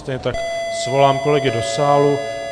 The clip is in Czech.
Stejně tak svolám kolegy do sálu.